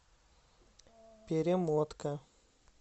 перемотка